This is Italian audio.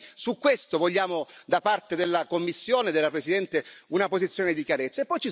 Noi su questo vogliamo, da parte della Commissione e della Presidente, una posizione di chiarezza.